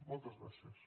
moltes gràcies